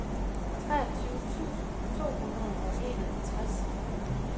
treogtyve tusind to hundrede og enoghalvtreds